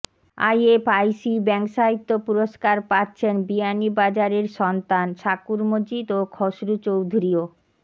IFIC bank সাহিত্য পুরস্কার পাচ্ছেন বিয়ানীবাজারের সন্তান শাকুর মজিদ ও খসরু চৌধুরী ও